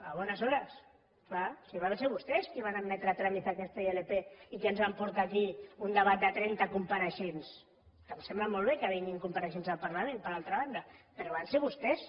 a buenas horas clar si van ser vostès qui van admetre a tràmit aquesta ilp i qui ens van portar aquí un debat de trenta compareixents que em sembla molt bé que vinguin compareixents al parlament per altra banda però van ser vostès